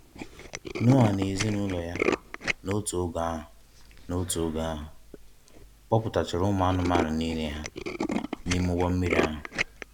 Noa na ezinụlọ ya, n’otu oge ahụ, n’otu oge ahụ, kpoputachara ụmụ anụmanụ niile ha n’ime ụgbọ mmiri ahụ.